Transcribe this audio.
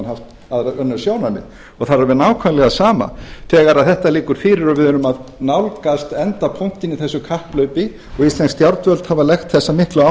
haft önnur sjónarmið það er alveg nákvæmlega sama þegar þetta liggur fyrir og við erum að nálgast endapunktinn í þessu kapphlaupi og íslensk stjórnvöld hafa lagt sem sagt mikla